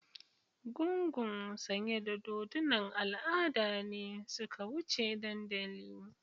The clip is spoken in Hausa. gungun sanye da dodunan al'ada ne suka wuce dandali.